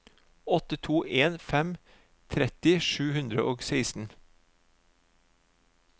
åtte to en fem tretti sju hundre og seksten